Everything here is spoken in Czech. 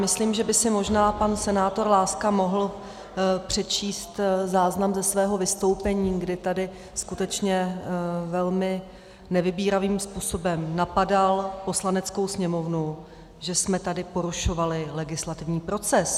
Myslím, že by si možná pan senátor Láska mohl přečíst záznam ze svého vystoupení, kdy tady skutečně velmi nevybíravým způsobem napadal Poslaneckou sněmovnu, že jsme tady porušovali legislativní proces.